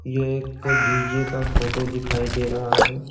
यह एक डी_जे का फोटो दिखाई दे रहा है।